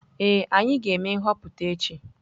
Ee, anyị ga-eme nhọpụta echi.